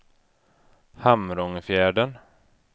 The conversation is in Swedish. Hamrångefjärden